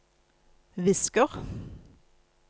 visker